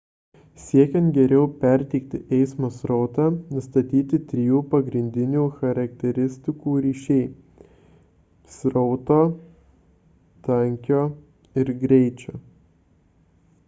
siekiant geriau perteikti eismo srautą nustatyti trijų pagrindinių charakteristikų ryšiai: 1 srauto 2 tankio ir 3 greičio